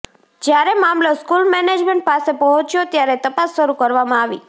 જ્યારે મામલો school management પાસે પહોંચ્યો ત્યારે તપાસ શરૂ કરવામાં આવી